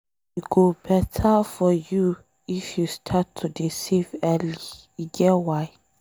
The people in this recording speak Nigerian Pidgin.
E go beta for you if you start to dey save early e get why.